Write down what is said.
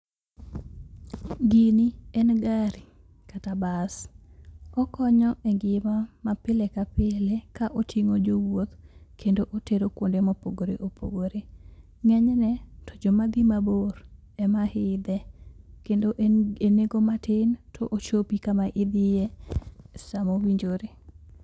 Gini en gari kata bas. Okonyo engima mapile kapile ka oting'o jowuoth kendo otero kuonde mopogore opogore. Ng'enyne to jomadhi mabor emaidhe, kendo enengo matin to ochopi kama idhiye samowinjore.